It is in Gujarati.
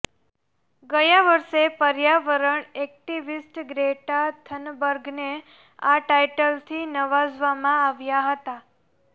ગયા વર્ષે પર્યાવરણ એક્ટિવિસ્ટ ગ્રેટા થનબર્ગને આ ટાઇટલથી નવાજવામાં આવ્યા હતા